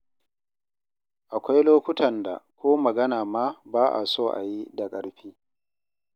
Akwai lokutan da ko magana ma ba a so a yi da ƙarfi.